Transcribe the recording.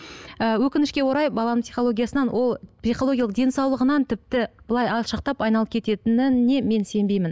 ііі өкінішке орай баланың психологиясынан ол психологиялық денсаулығынан тіпті былай алшақтап айналып кететініне мен сенбеймін